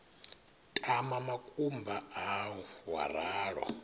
tama makumba au wa ralo